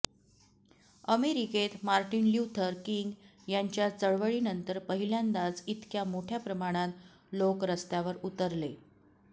अमेरिकेत Martin Luther King यांच्या चळवळीनंतर पहिल्यांदाच इतक्या मोठ्या प्रमाणात लोक रस्त्यावर उतरले